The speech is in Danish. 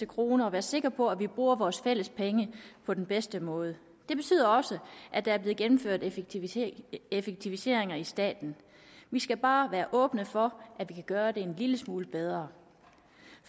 krone og være sikre på at vi bruger vores fælles penge på den bedste måde det betyder også at der er blevet gennemført effektiviseringer effektiviseringer i staten vi skal bare være åbne for at vi kan gøre det en lille smule bedre